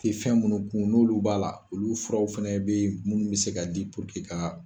I tɛ fɛn munnu kun n' olu b'a la, olu furaw fɛnɛ bɛ munnu bɛ se ka di ka.